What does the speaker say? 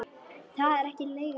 Það er ekki leigan.